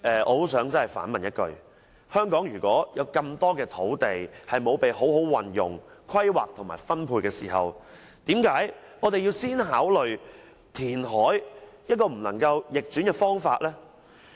我想反問一句，香港有那麼多土地未被好好運用、規劃和分配，我們為何要先考慮填海這個不能逆轉的方法？